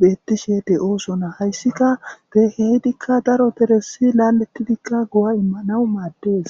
betishe de'osona.hayssika kehi daro deres laletidi go'a imanaw maddes.